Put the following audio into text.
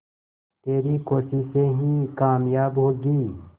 तेरी कोशिशें ही कामयाब होंगी